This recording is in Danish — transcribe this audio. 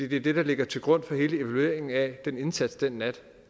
det er det der ligger til grund for hele evalueringen af den indsats den nat